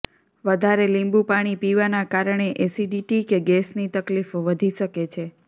વધારે લીંબુપાણી પીવાનાં કારણે એસિડિટી કે ગેસની તકલીફ વધી શકે છે